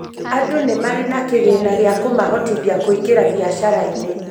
Andũ nĩ marĩ na kĩgĩna gĩa kũmahotithia kũingĩra biacara-inĩ.